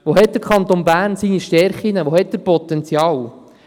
Wo hat er seine Stärken, wo hat er Potenzial?